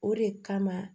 O de kama